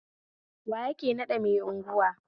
Wa yake nada mai unguwa?